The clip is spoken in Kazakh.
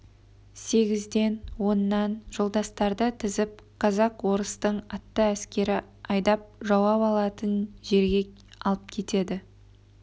сегізден оннан жолдастарды тізіп казак-орыстың атты әскері айдап жауап алатын жерге алып кетеді